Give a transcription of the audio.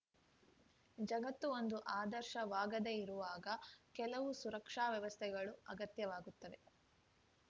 ಜಗತ್ತು ಒಂದು ಆದರ್ಶವಾಗದೆ ಇರುವಾಗ ಕೆಲವು ಸುರಕ್ಷಾ ವ್ಯವಸ್ಥೆಗಳು ಅಗತ್ಯವಾಗುತ್ತವೆ